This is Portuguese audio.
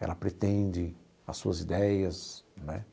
ela pretende, as suas ideias, não é?